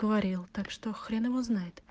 говорил так что хрен его знает